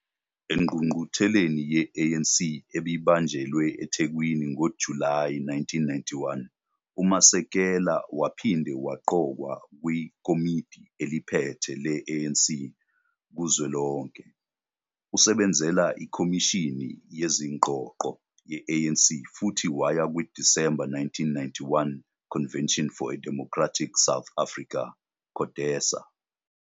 Engqungqutheleni ye-ANC ebibanjelwe eThekwini ngoJulayi 1991, uMasekela waphinde waqokwa kwiKomidi eliPhethe le-ANC kuzwelonke. Usebenzela ikhomishini yezingxoxo ye-ANC futhi waya kwi-December 1991 Convention for a Democratic South Africa, CODESA.